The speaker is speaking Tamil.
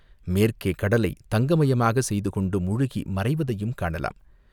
மேற்கே கடலைத் தங்கமயமாகச் செய்து கொண்டு முழுகி மறைவதையும் காணலாம்.